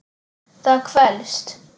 Það kvelst.